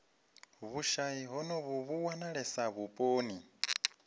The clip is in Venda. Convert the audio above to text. vhushayi honovhu vhu wanalesa vhuponi